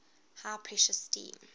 high pressure steam